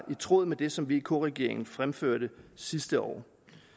tråd med det som vk regeringen fremførte sidste år